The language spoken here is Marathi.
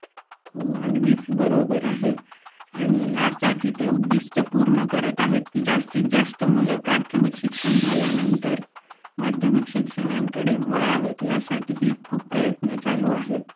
हो अगदीचं बरोबर आहे. आणि यासाठी ते उद्दीष्ट्य पूर्ण करतं आहेत की जास्तीतजास्त ती मुलं प्राथमिक शिक्षण झाल्यानंतर माध्यमिक शिक्षणांकडे वळावित यासाठी ही खूप प्रयत्न चालू आहेत.